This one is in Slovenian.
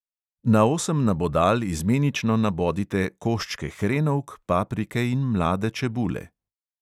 Na osem nabodal izmenično nabodite koščke hrenovk, paprike in mlade čebule.